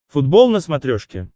футбол на смотрешке